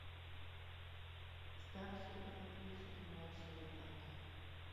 старший брат ищет младшего брата